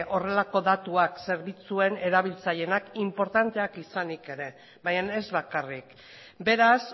horrelako datuak zerbitzuen erabiltzaileenak inportantea izanik ere baina ez bakarrik beraz